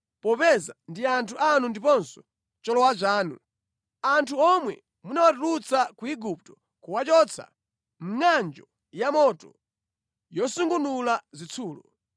popeza ndi anthu anu ndiponso cholowa chanu, anthu omwe munawatulutsa ku Igupto, kuwachotsa mʼngʼanjo yamoto yosungunula zitsulo.